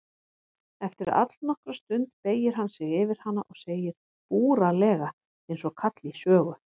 Eftir allnokkra stund beygir hann sig yfir hana og segir búralega einsog kall í sögu